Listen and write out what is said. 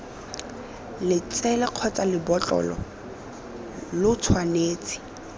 letsele kgotsa lebotlolo lo tshwanetse